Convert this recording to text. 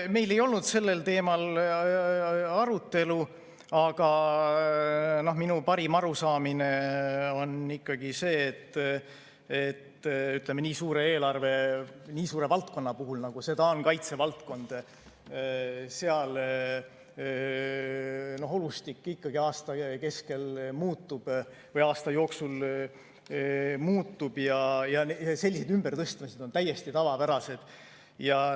Meil ei olnud sellel teemal arutelu, aga minu parim arusaamine on see, et nii suure eelarve puhul, nii suure valdkonna puhul, nagu seda on kaitsevaldkond, olustik ikkagi aasta jooksul muutub ja sellised ümbertõstmised on täiesti tavapärased.